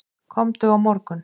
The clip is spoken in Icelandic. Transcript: Komdu á morgun.